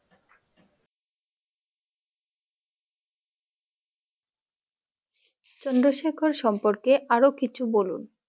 চন্দ্রশেখর সম্পর্কে আরও কিছু বলুন?